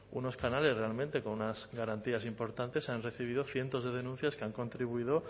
unos canales realmente con unas garantías importantes se han recibido cientos de denuncias que han contribuido